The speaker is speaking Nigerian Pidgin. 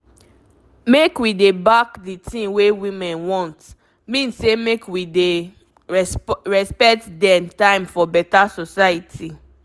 make we dey back d tin wey women want mean say make we dey respect dem time for beta society